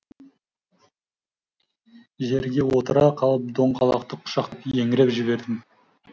жерге отыра қалып доңғалақты құшақтап еңіреп жібердім